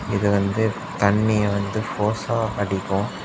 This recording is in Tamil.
இது வந்து தண்ணிய வந்து ஃபோர்சா அடிக்கும்.